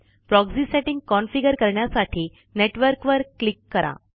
proxy setting configure करण्यासाठी नेटवर्कवर click करा